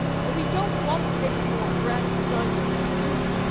We do not want any more grand designs for the future